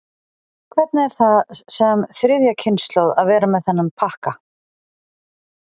Hvernig er það sem þriðja kynslóð að vera með þennan pakka?